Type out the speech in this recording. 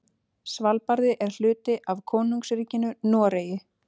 Svalbarði er hluti af Konungsríkinu Noregi.